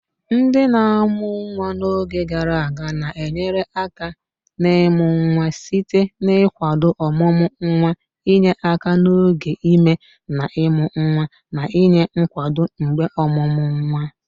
Ndị na-amụ nwa n'oge gara aga na-enyere aka n'ịmụ nwa site n'ịkwado ọmụmụ nwa, inye aka n'oge ime na ịmụ nwa, na inye nkwado mgbe ọmụmụ nwa.